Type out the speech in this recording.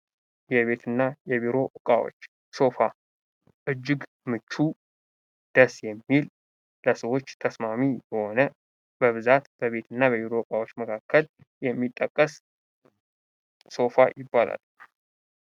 የቤትና የቢሮ ዕቃዎች ሶፋ እጅግ ምቹ፣ ደስ የሚል ፣ለሰዎች ተስማሚ የሆነ ፣በብዛት በቤት እና በቢሮ ዕቃዎች መካከል የሚጠቀስ ሶፋ ይባላል።